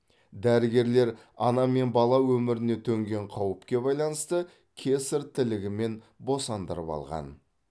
дәрігерлер ана мен бала өміріне төнген қауіпке байланысты кесарь тілігімен босандырып алған